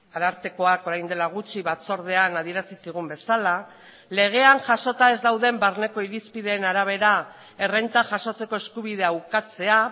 arartekoak orain dela gutxi batzordean adierazi zigun bezala legean jasota ez dauden barneko irizpideen arabera errenta jasotzeko eskubidea ukatzea